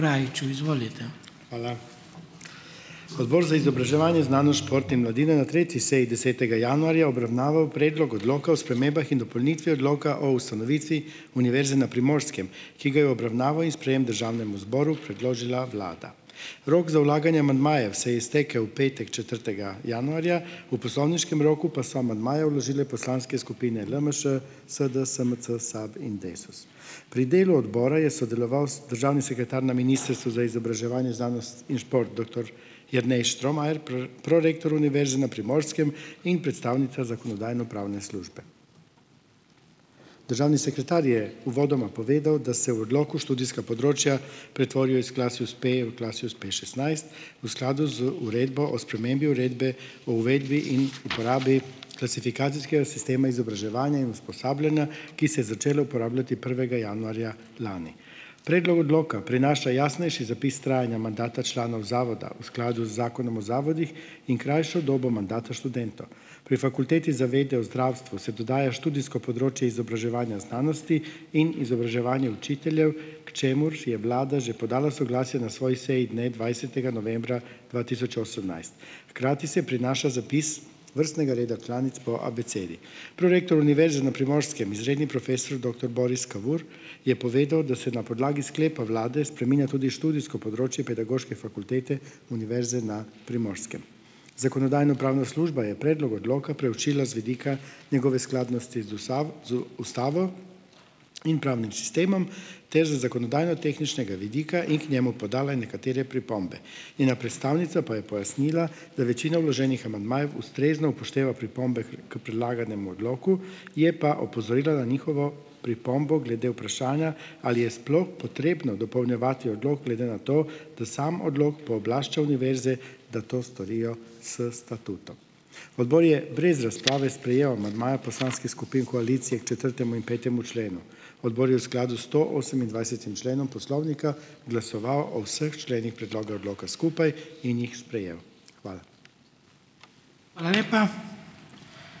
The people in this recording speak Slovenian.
Hvala. Odbor za izobraževanje, znanost, šport in mladino je na tretji seji desetega januarja obravnaval predlog odloka o spremembah in dopolnitvi odloka o ustanovitvi Univerze na Primorskem, ki ga je v obravnavo in sprejem državnemu zboru predložila vlada. Rok za vlaganje amandmajev se je iztekel v petek, četrtega januarja, v poslovniškem roku pa so amandmaje vložile poslanske skupine LMŠ, SD, SMC, SAB in Desus. Pri delu odbora je sodeloval državni sekretar na Ministrstvu za izobraževanje, znanost in šport doktor Jernej Štromajer, prorektor Univerze na Primorskem in predstavnica Zakonodajno-pravne službe. Državni sekretar je uvodoma povedal, da se v odloku študijska področja pretvorijo iz Klasius P v Klasius Pšestnajst v skladu z Uredbo o spremembi Uredbe o uvedbi in uporabi klasifikacijskega sistema izobraževanja in usposabljanja, ki se je začelo uporabljati prvega januarja lani. Predlog odloka prinaša jasnejši zapis trajanja mandata članov zavoda v skladu z Zakonom o zavodih in krajšo dobo mandata Pri Fakulteti za vede o zdravstvu se dodaja študijsko področje izobraževanja znanosti in izobraževanje učiteljev, k čemur je vlada že podala soglasje na svoji seji dne dvajsetega novembra dva tisoč osemnajst. Hkrati se prinaša zapis vrstnega reda članic po abecedi. Prorektor Univerze na Primorskem, izredni profesor doktor Boris Kavur je povedal, da se na podlagi sklepa vlade spreminja tudi študijsko področje pedagoške fakultete Univerze na Primorskem. Zakonodajno-pravna služba je predlog odloka preučila z vidika njegove skladnosti z z ustavo in pravnim sistemom ter z zakonodajnotehničnega vidika in k njemu podala nekatere pripombe. Njena predstavnica pa je pojasnila, da večina vloženih amandmajev ustrezno upošteva pripombe k predlaganemu odloku, je pa opozorila na njihovo pripombo glede vprašanja, ali je sploh potrebno dopolnjevati odlok glede na to, da sam odlok pooblašča univerze, da to storijo s statutom. Odbor je brez razprave sprejel amandmaje poslanskih skupin koalicije k četrtemu in petemu členu. Odbor je v skladu s stoosemindvajsetim členom poslovnika glasoval o vseh členih predloga odloka skupaj in jih sprejel. Hvala.